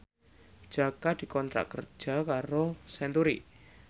Jaka dikontrak kerja karo Century